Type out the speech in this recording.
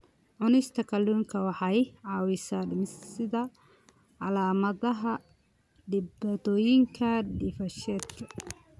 Cunista kalluunka waxa ay caawisaa dhimista calaamadaha dhibaatooyinka dheefshiidka.